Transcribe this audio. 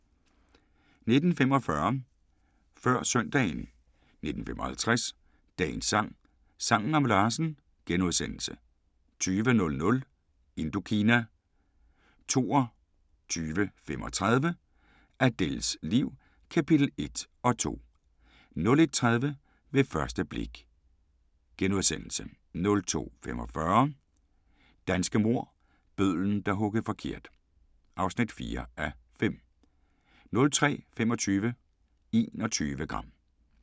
19:45: Før søndagen 19:55: Dagens sang: Sangen om Larsen * 20:00: Indokina 22:35: Adèles liv – kapitel 1 og 2 01:30: Ved første blik * 02:45: Danske mord - Bødlen, der huggede forkert (4:5) 03:25: 21 gram